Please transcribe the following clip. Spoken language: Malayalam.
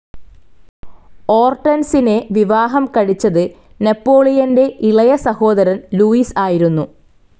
ഓർട്ടെൻസിനെ വിവാഹം കഴിച്ചത് നെപോളിയന്റെ ഇളയസഹോദരൻ ലൂയിസ് ആയിരുന്നു.